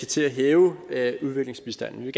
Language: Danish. til at hæve udviklingsbistanden vi